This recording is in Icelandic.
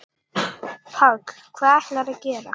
Páll: Hvað ætlarðu að gera?